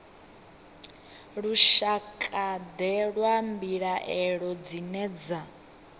lushakade lwa mbilaelo dzine dza